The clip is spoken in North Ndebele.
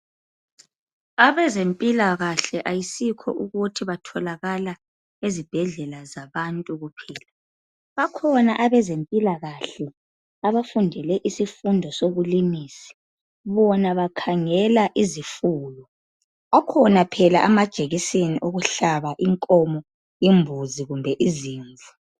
Abezempilakahle ayisikho ukuthi batholakala ezibhedlela kuphela zabantu kuphela. Bakhona abezempilakahle abafundele isifundo sobulimisi. Bona bakhangela izifuyo. Akhona phela amajekiseni okuhlaba inkomo imbuzi, kumbe izimvu.